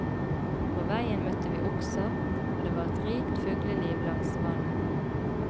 På veien møtte vi okser, og det var et rikt fugleliv langs vannet.